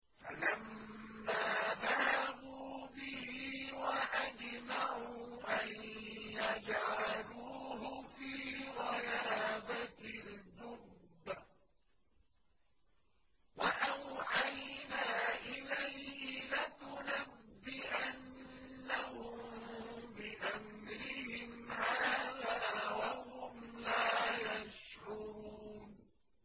فَلَمَّا ذَهَبُوا بِهِ وَأَجْمَعُوا أَن يَجْعَلُوهُ فِي غَيَابَتِ الْجُبِّ ۚ وَأَوْحَيْنَا إِلَيْهِ لَتُنَبِّئَنَّهُم بِأَمْرِهِمْ هَٰذَا وَهُمْ لَا يَشْعُرُونَ